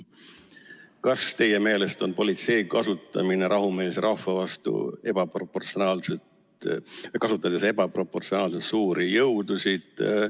"Kas teie meelest on politsei kasutanud rahumeelse rahva vastu ebaproportsionaalselt suuri jõudusid?